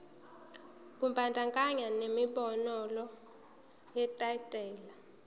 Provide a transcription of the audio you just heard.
kubandakanya nenombolo yetayitela